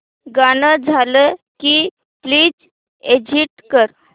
गाणं झालं की प्लीज एग्झिट कर